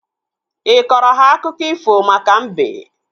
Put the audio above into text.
Ịkọrọ ha akụkọ ifo maka mbe?